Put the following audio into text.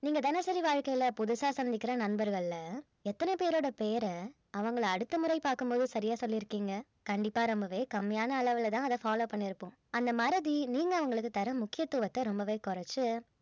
நீங்க தினசரி வாழ்க்கையில புதுசா சந்திக்கிற நண்பர்கள்ல எத்தனை பேரோட பெயரை அவங்கள அடுத்த முறை பார்க்கும் போது சரியா சொல்லியிருக்கீங்க கண்டிப்பா ரொம்பவே கம்மியான அளவுல தான் அத follow பண்ணியிருப்போம் அந்த மறதி நீங்க அவங்களுக்கு தர முக்கியத்துவத்தை ரொம்பவே குறைச்சி